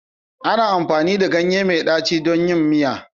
Ana amfani da ganye mai ɗaci don yin miya